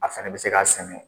A fɛnɛ bɛ se k'a sɛnɛ.